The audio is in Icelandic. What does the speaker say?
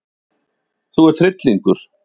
Þú ert hryllingur!